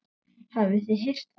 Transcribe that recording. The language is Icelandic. Hafið þið heyrt það?